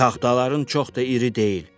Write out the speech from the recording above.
Taxtaların çox da iri deyil.